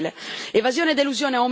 Questo è inaccettabile.